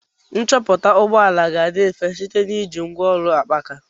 Nchọpụta ụgbọ ala ga-adị mfe site na iji ngwaọrụ akpaaka.